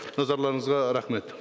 назарларыңызға рахмет